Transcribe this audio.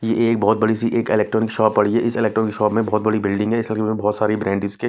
यह एक बहुत बड़ी सी एक इलेक्ट्रॉनिक शॉप पड़ी है इस इलेक्ट्रॉनिक शॉप में बहुत बड़ी बिल्डिंग है इसमें बहुत सारी ब्रांड्स के--